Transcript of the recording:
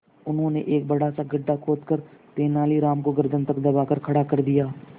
उन्होंने एक बड़ा सा गड्ढा खोदकर तेलानी राम को गर्दन तक दबाकर खड़ा कर दिया